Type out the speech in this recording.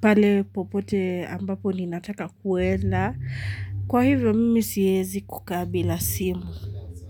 pale popote ambapo ni nataka kuenda. Kwa hivyo mimi siezi kukaa bila simu.